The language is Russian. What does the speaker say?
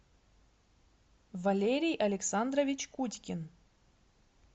валерий александрович кутькин